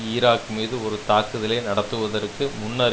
Iraq மீது ஒரு தாக்குதலை நடத்துவதற்கு முன்னர்